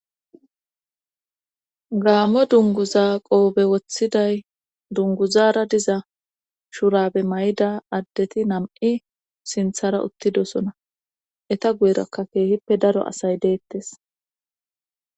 Gaammo dunguza qoobe woththiday dunguzara diza shurabe may"da addeti nam"i sinthara uttidosona eta guyerakka keehippe daro asay deettes